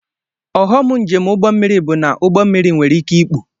Ọghọm njem ụgbọ mmiri bụ na ụgbọ mmiri nwereike ikpu